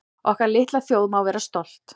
Okkar litla þjóð má vera stolt